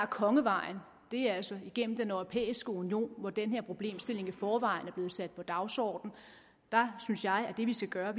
kongevejen altså igennem den europæiske union hvor den her problemstilling i forvejen er blevet sat på dagsordenen der synes jeg at det vi skal gøre